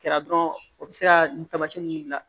Kɛra dɔrɔn o bɛ se ka nin taamasiyɛn ninnu dilan